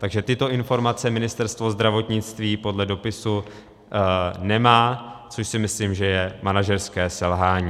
Takže tyto informace Ministerstvo zdravotnictví podle dopisu nemá, což si myslím, že je manažerské selhání.